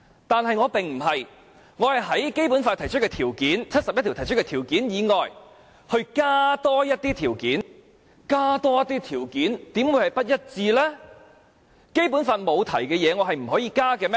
但是，我不是這樣，我是在《基本法》第七十一條提出的條件以外，多加一些條件；而多加一些條件，怎會是與《基本法》不一致呢？